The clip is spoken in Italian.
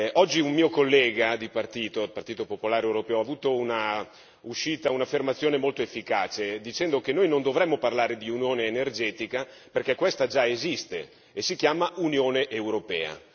Oggi, un mio collega di partito, il Partito popolare europeo, ha avuto un'affermazione moto efficace, dicendo che noi non dovremmo parlare di unione energetica perché questa già esiste e si chiama Unione europea.